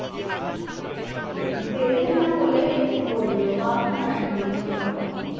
দেবে না বলে বলল বাহানা এগুলো যানোতো